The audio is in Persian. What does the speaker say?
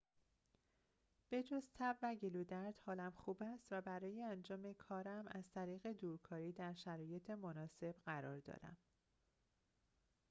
به‌جز تب و گلودرد حالم خوب است و برای انجام کارم از طریق دورکاری در شرایط مناسب قرار دارم